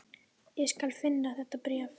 Ég skal finna þetta bréf